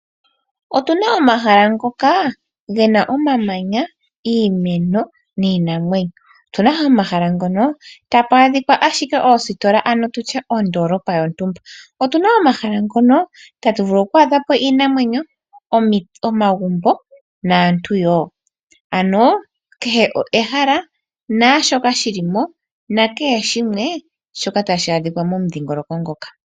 Otu na omahala ngoka ge na omamanya, iimeno niinamwenyo. Otu na wo omahala ngono tapu adhika ashike oositola, ano tutye ondoolopa yontumba. Otu na omahala ngono tatu vulu oku adha po omagumbo, iinamwenyo naantu wo. Ano kehe ehala naashika shili mo, nakehe shimwe tashi adhika momudhiingoloko moka.